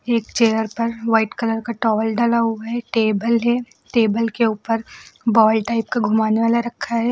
एक चेयर पर white colour का टॉवल डला हुआ है टेबल है टेबल के ऊपर बॉल टाइप का घुमाने वाला रखा है।